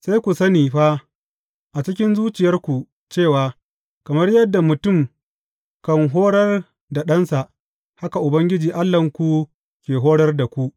Sai ku sani fa a cikin zuciyarku cewa kamar yadda mutum kan horar da ɗansa, haka Ubangiji Allahnku ke horar da ku.